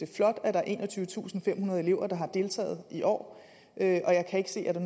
flot at der er enogtyvetusinde og femhundrede elever der har deltaget i år og jeg kan ikke se at der